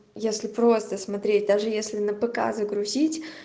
если просто смотреть даже если на пк загрузить